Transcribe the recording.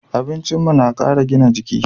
Abincin mu na kara gina jiki